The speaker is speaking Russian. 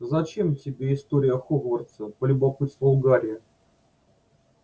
зачем тебе история хогвартса полюбопытствовал гарри